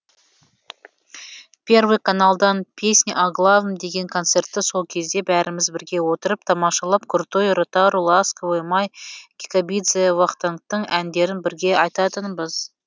первый каналдан песни о главным деген концертті сол кезде бәріміз бірге отырып тамашалап крутой ротару ласковый май кикабидзе вахтангтың әндерін бірге айтатынбыз